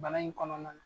Bana in kɔnɔna na